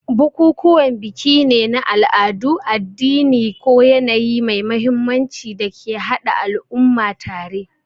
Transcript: Bukukuwan biki ne na al'adu, addini, ko yanayi mai mahimmanci da ke haɗa al'umma tare.